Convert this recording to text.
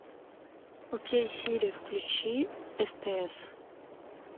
окей сири включи стс